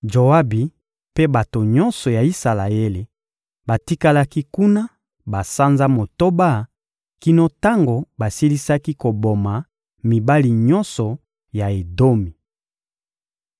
Joabi mpe bato nyonso ya Isalaele batikalaki kuna basanza motoba kino tango basilisaki koboma mibali nyonso ya Edomi.